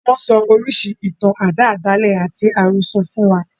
Wọn sọ oríṣiríṣi ìtàn àdáádálẹ̀ àti àròsọ̀ fún wa.